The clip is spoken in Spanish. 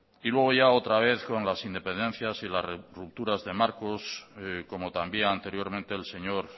luego ya otra vez con las independencias y las rupturas de marcos como también anteriormente el señor